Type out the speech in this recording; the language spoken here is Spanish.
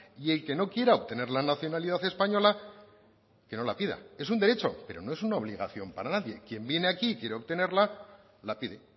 y el que no quiera obtener la nacionalidad española que no la pida es un derecho pero no es una obligación para nadie quien viene aquí y quiere obtenerla la pide